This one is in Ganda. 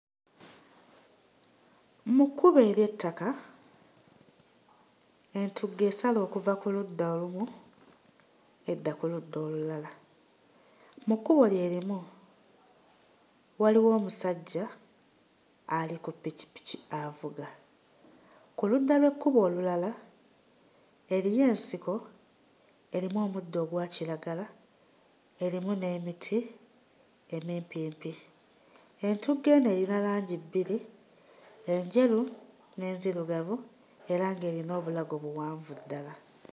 Mu kkubo ery'ettaka, entugga esala okuva ku ludda olumu edda ku ludda lulala. Mu kkubo lyerimu waliwo omusajja ali ku ppikipiki avuga. Ku ludda lw'ekkubo olulala, eriyo ensiko erimu omuddo ogwa kiragala, erimu n'emiti emimpimpi. Entugga eno erina langi bbiri: enjeru n'enzirugavu era ng'erina obulago buwanvu ddala.